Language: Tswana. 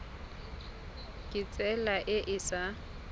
ka tsela e e sa